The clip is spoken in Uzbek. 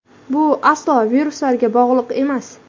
Bu aslo viruslarga bog‘liq emas.